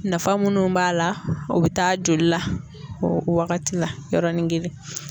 Nafa munnu b'a la o bɛ taa joli la o waagati la yɔrɔnin kelen.